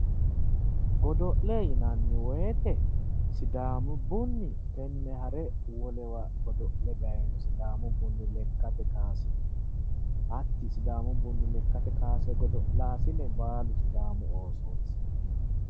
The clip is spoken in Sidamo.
Godo'le yinnanni woyte sidaamu bunni tene ha're wolewa godo'le dayino sidaamu bunni lekkate kawase hatti sidaamu bunni lekkate godo'lasine baallu sidaamu oosoti.